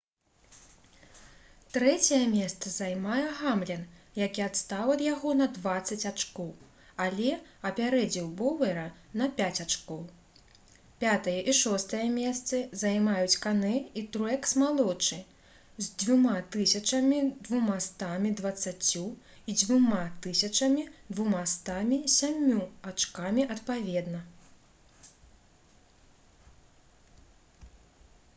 трэцяе месца займае гамлін які адстаў ад яго на дваццаць ачкоў але апярэдзіў боўера на пяць ачкоў пятае і шостае месцы займаюць канэ і труэкс-малодшы з 2220 і 2207 ачкамі адпаведна